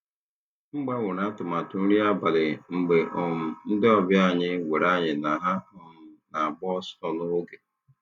M gbanwere atụmatụ nri abalị mgbe um ndị ọbịa anyị gwara anyị na ha um na-agba ọsọ n'oge.